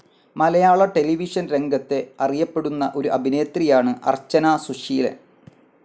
മലയാള television രംഗത്തെ അറിയപ്പെടുന്ന ഒരു അഭിനേത്രിയാണ് അർച്ചന സുശീലൻ.